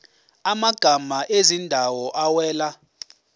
amagama ezindawo awela